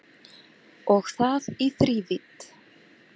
Og það í þrívídd